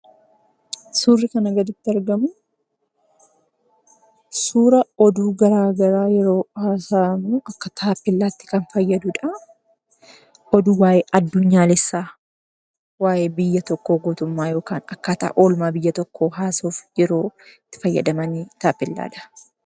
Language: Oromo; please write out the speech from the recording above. Suurri kana gaditti argamu suura oduu garaa garaa yeroo haasa'amu akka taappeellaatti kan fayyaduudha. Oduu waa'ee addunyaalessaa, waa'ee biyya tokkoo yookaan akkaataa biyya tokkoo haasa'uuf yeroo itti fayyadaman taappeellaadha.